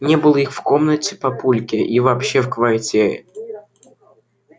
не было их и в комнате папульки и вообще в квартире